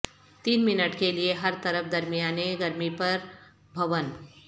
تین منٹ کے لئے ہر طرف درمیانے گرمی پر بھون